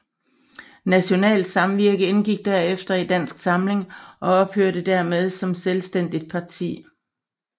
Nationalt Samvirke indgik derefter i Dansk Samling og ophørte dermed som selvstændigt parti